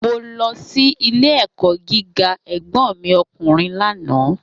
Mo lọ sí ilé-ẹ̀kọ́ gíga ẹ̀gbọ́n mi ọkùnrin lánàá